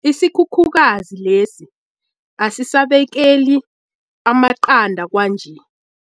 Isikhukhukazi lesi asisabekeli amaqanda kwanje.